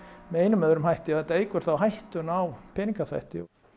með einum eða öðrum hætti og þetta eykur þá hættuna á peningaþvætti